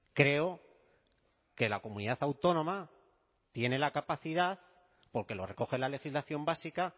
creo que la comunidad autónoma tiene la capacidad porque lo recoge la legislación básica